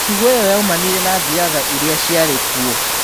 Mĩtugo ĩyo yaumanire na thiatha iria ciarĩ kuo.